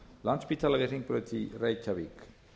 landspítala við hringbraut í reykjavík